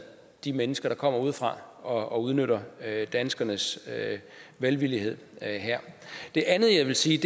de mennesker der kommer udefra og udnytter danskernes velvilje det andet jeg vil sige